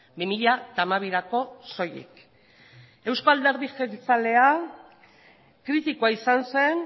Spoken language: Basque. bi mila hamabirako soilik eusko alderdi jeltzalea kritikoa izan zen